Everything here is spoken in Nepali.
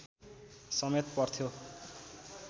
समेत पर्थ्यो